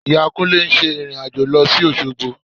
Ìyá Kúnlé ń ṣe ìrìn-àjò lọ sí Òṣogbo